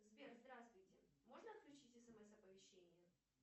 сбер здравствуйте можно отключить смс оповещение